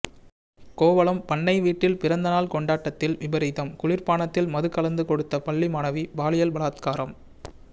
கோவளம் பண்ணை வீட்டில் பிறந்த நாள் கொண்டாட்டத்தில் விபரீதம் குளிர்பானத்தில் மது கலந்து கொடுத்து பள்ளி மாணவி பாலியல் பலாத்காரம்